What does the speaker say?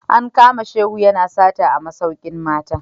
An kama Shehu yana sata a masaukin mata